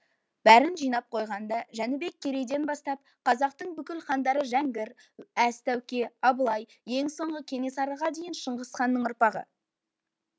бәрін жинап қойғанда жәнібек керейден бастап қазақтың бүкіл хандары жәңгір әз тәуке абылай ең соңғы кенесарыға дейін шыңғыс ханның ұрпағы